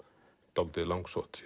dálítið langsótt